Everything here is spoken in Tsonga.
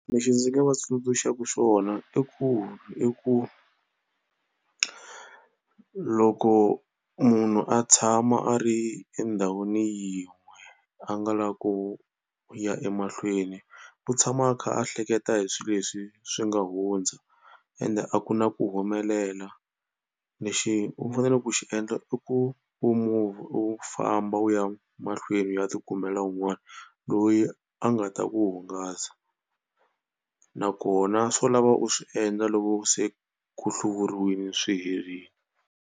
Lexi ndzi nga va tsundzuxaku xona i ku i ku loko munhu a tshama a ri endhawini yin'we a nga lavi ku ya emahlweni u tshama a kha a hleketa hi swilo leswi swi nga hundza ende a ku na ku humelela. Lexi u fanele ku xi endla i ku u famba u ya mahlweni u ya tikumela un'wana loyi a nga ta ku hungasa nakona swo lava u swi endla loko se ku hluriwile swi herile.